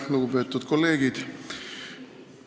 Lugupeetud kolleegid!